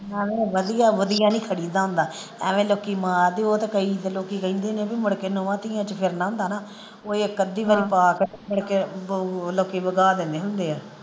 ਨਾਲੇ ਵਧੀਆ ਵਧੀਆ ਨਹੀਂ ਖੜੀਦਾ ਹੁੰਦਾ ਆਵੀਏ ਲੋਕੀ ਮਾਰਦੇ ਉਹ ਤੇ ਕਈ ਤੇ ਲੋਕੀ ਕਹਿੰਦੇ ਨੇ ਬੀ ਮੁੜਕੇ ਨੂੰਹਾਂ ਧੀਆਂ ਚ ਫਿਰਨਾ ਹੁੰਦਾ ਨਾ ਉਹ ਇਕ ਅੱਧੀ ਵਾਰਾਂ ਪਾ ਕੇ ਤੇ ਫਿਰ ਕੇ ਲੋਕੀ ਵਗਾ ਲਏ ਹੁੰਦੇ ਆ।